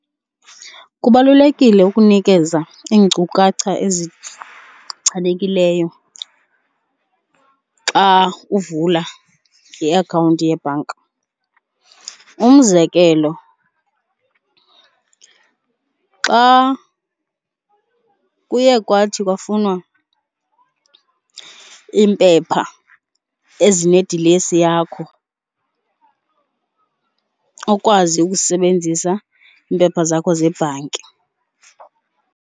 Kubalulekile ukunikeza iinkcukacha ezichanekileyo xa uvula iakhawunti yebhanka. Umzekelo xa kuye kwathi kwafunwa iimpepha ezinedilesi yakho ukwazi ukusebenzisa iimpepha zakho zebhanki.